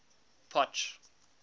potch